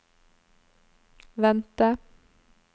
vente